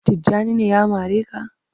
Tijjani ne ya mare ka?.